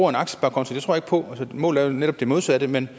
for målet er netop det modsatte men